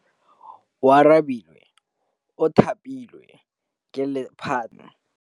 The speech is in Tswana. Oarabile o thapilwe ke lephata la Gauteng.